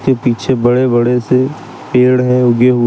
वो पीछे बड़े बड़े से पेड़ है उगे हुए।